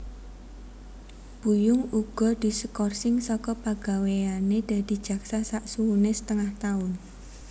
Buyung uga diskorsing saka pagawéyane dadi jaksa saksuwene setengah taun